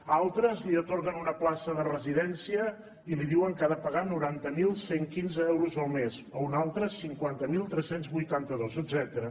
a altres els atorguen una plaça de residència i els diuen que han de pagar noranta mil cent i quinze euros al mes a un altre cinquanta mil tres cents i vuitanta dos etcètera